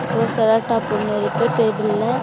அப்றோ செலோடேப் உள்ள இருக்கு டேபிள்ல .